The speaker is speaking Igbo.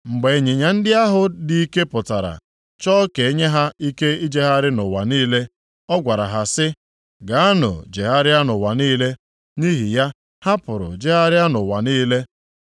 Mgbe ịnyịnya ndị ahụ dị ike pụtara, chọọ ka e nye ha ike ijegharị nʼụwa niile, ọ gwara ha sị, “Gaanụ jegharịa nʼụwa niile.” Nʼihi ya, ha pụrụ jegharịa nʼụwa niile.